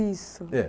Isso. Eh,